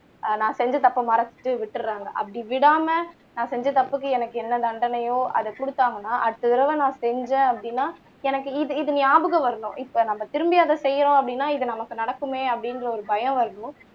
ஆஹ் நான் செஞ்ச தப்ப மறைச்சிட்டு விட்டுடுறாங்க அப்படி விடாம நான் செஞ்ச தப்புக்கு எனக்கு என்ன தண்டனையோ அத குடுத்தங்கன்னா அடுத்த தடவை நான் செஞ்சேன் அப்படின்னா எனக்கு இது ஞாபகம் வரணும் இப்ப நம்ம திரும்பி அத செய்றோம் அப்படின்னா இது நமக்கு நடக்குமே அப்படின்ற ஒரு பயம் வரணும்